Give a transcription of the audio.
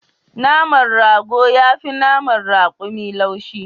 Naman rago yafi naman rakumi laushi